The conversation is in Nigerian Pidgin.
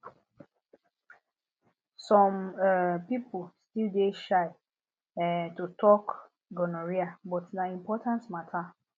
some um people still dey shy um to talk gonorrhea but na important matter